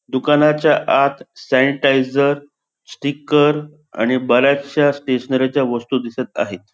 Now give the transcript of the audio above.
दुकानाच्या आत sanitiser sticker आणि बर्‍याचशा स्टेशनरीच्या वस्तू दिसत आहेत.